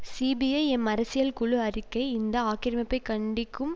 CBI M அரசியல் குழு அறிக்கை இந்த ஆக்கிரமிப்பை கண்டிக்கும்